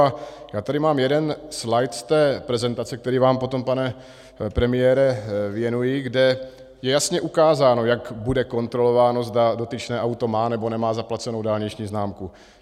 A já tady mám jeden slajd z té prezentace, který vám potom, pane premiére, věnuji, kde je jasně ukázáno, jak bude kontrolováno, zda dotyčné auto má, nebo nemá zaplacenou dálniční známku.